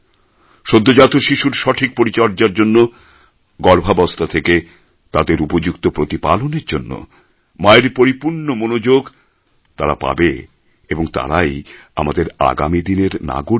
সদ্যোজাত শিশুর সঠিক পরিচর্যার জন্য গর্ভাবস্থা থেকে তাদের উপযুক্ত প্রতিপালনের জন্য মায়ের পরিপূর্ণ মনোযাগ তারা পাবে এবং তারাই আমাদের আগামী দিনের নাগরিক